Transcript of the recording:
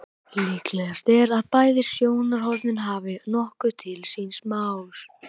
Líklegast er að bæði sjónarhornin hafi nokkuð til síns máls.